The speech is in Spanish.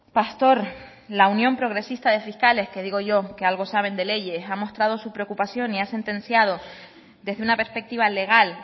pastor la unión progresista de fiscales que digo yo que algo saben de leyes ha mostrado su preocupación y ha sentenciado desde una perspectiva legal